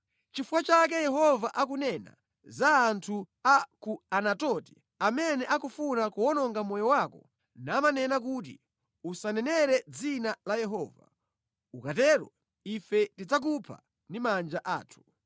“Nʼchifukwa chake Yehova akunena za anthu a ku Anatoti amene akufuna kuwononga moyo wako namanena kuti, ‘Usanenere mʼdzina la Yehova, ukatero ife tidzakupha ndi manja athu,’